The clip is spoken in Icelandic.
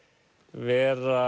vera